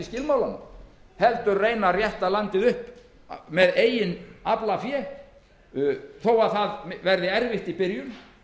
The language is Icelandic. skilmálana heldur reyna að rétta landið upp með eigin aflafé þó að það verði erfitt í byrjun